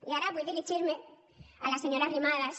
i ara vull dirigir me a la senyora arrimadas